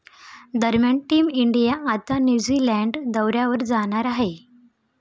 दरम्यान team India आता New Zealand दौऱ्यावर जाणार आहे.